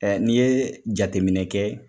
Ɛ n'i ye jateminɛ kɛ